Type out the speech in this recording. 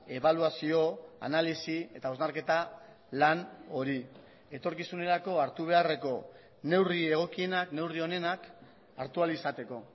ebaluazio analisi eta hausnarketa lan hori etorkizunerako hartu beharreko neurri egokienak neurri onenak hartu ahal izateko